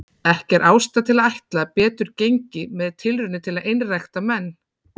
Ekki er ástæða til að ætla að betur gengi með tilraunir til að einrækta menn.